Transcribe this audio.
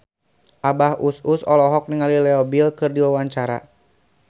Abah Us Us olohok ningali Leo Bill keur diwawancara